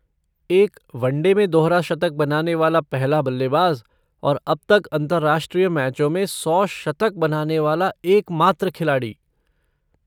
एक वनडे में दोहरा शतक बनाने वाला पहले बल्लेबाज और अब तक अंतरराष्ट्रीय मैचों में सौ शतक बनाने वाला एकमात्र खिलाड़ी।